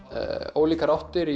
ólíkar áttir